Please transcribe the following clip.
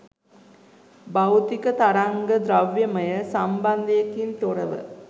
භෞතික තරංග ද්‍රව්‍යමය සම්බන්ධයකින් තොරව